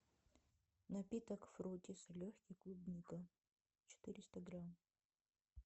напиток фруттис легкий клубника четыреста грамм